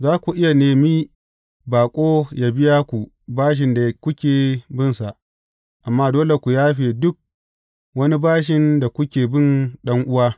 Za ku iya nemi baƙo yă biya ku bashin da kuke binsa, amma dole ku yafe duk wani bashin da kuke bin ɗan’uwa.